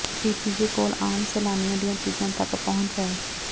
PPJ ਕੋਲ ਆਮ ਸੈਲਾਨੀਆਂ ਦੀਆਂ ਚੀਜ਼ਾਂ ਤਕ ਪਹੁੰਚ ਹੈ